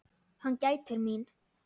Hann gætir mín.